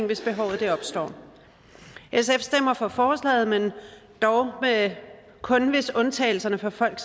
hvis behovet opstår sf stemmer for forslaget men dog kun hvis undtagelserne for folk